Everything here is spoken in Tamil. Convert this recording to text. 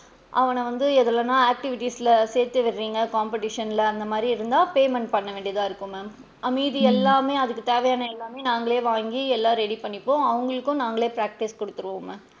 அவன வந்து எதுலனா activities ல சேத்து விடுறீங்க competition ல அந்த மாறி இருந்தா payment பண்ண வேண்டியாதா இருக்கும் ma'am ஆஹ் மீதி எல்லாமே அதுக்கு தேவையான எல்லாமே நாங்களே வாங்கி எல்லா ready பண்ணிப்போம் அவுங்களுக்கும் நாங்களே practice குடுத்திடுவோம் ma'am.